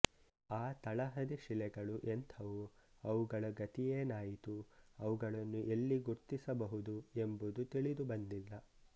ಆ ತಳಹದಿ ಶಿಲೆಗಳು ಎಂಥವು ಅವುಗಳ ಗತಿಯೇನಾಯಿತು ಅವುಗಳನ್ನು ಎಲ್ಲಿ ಗುರ್ತಿಸಬಹುದು ಎಂಬುದು ತಿಳಿದುಬಂದಿಲ್ಲ